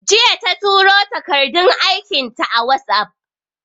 Jiya ta turo takardun aikin ta WhatsApp